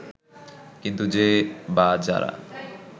কিন্তু যে বা যারা